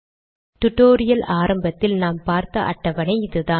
tutorial ஆரம்பத்தில் நாம் பார்த்த அட்டவணை இதுதான்